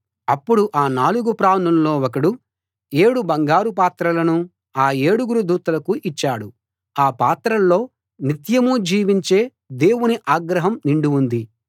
అప్పుడు ఆ నాలుగు ప్రాణుల్లో ఒకడు ఏడు బంగారు పాత్రలను ఆ ఏడుగురు దూతలకు ఇచ్చాడు ఆ పాత్రల్లో నిత్యం జీవించే దేవుని ఆగ్రహం నిండి ఉంది